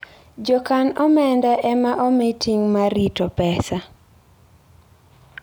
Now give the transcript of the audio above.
Jokan omenda ema omi ting' mar rito pesa.